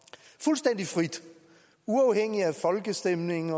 fuldstændig frit uafhængigt af folkestemning